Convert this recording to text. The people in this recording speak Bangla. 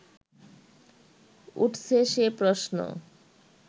উঠছে সে প্রশ্ন